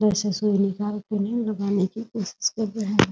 लगाने की कोशिश कर रहे हैं ।